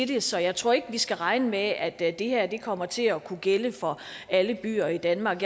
det så jeg tror ikke at vi skal regne med at at det her kommer til at kunne gælde for alle byer i danmark